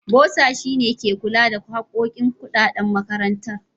Bossa shi ne ke kula harkokin kuɗaɗan makarantar.